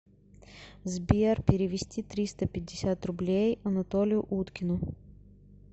сбер перевести триста пятьдесят рублей анатолию уткину